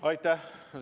Aitäh!